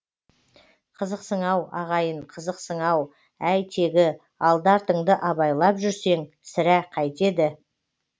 қызықсың ау ағайын қызықсың ау әй тегі алды артыңды абайлап жүрсең сірә қайтеді